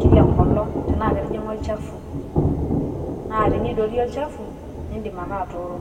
kila enkolong enaa ketijing`a olchafu. Naa tenidoorie olchafu nidim ake atooro.